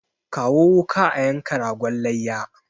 Kawo wuka a yanka ragon layya!